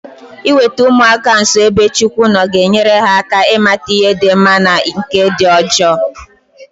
Iweta ụmụaka nso ebe Chukwu nọ ga-enyere ha aka ịmata ihe di mma na nke dị njo